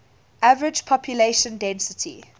average population density